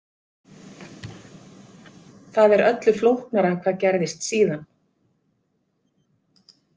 Það eru öllu flóknara hvað gerðist síðan.